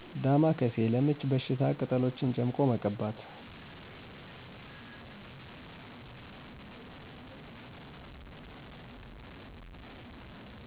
ዳማ ካሴ። ለምች በሽታ ቅጠሎችን ጨምቆ መቀባት።